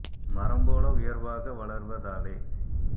மரம்போல உயர்வாக வளர்வ தாலே